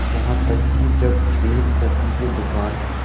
यहां तक कि जब एक कॉफी के दुकान